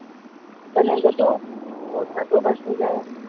তেনেকেতো পইচাটোও বাচি যায়।